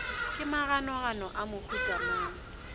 ke maganogano a mohuta mang